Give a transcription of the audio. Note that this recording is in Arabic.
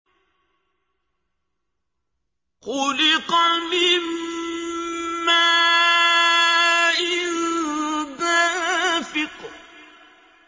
خُلِقَ مِن مَّاءٍ دَافِقٍ